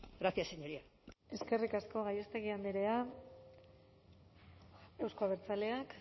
gracias señoría eskerrik asko gallástegui andrea euzko abertzaleak